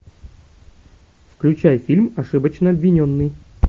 включай фильм ошибочно обвиненный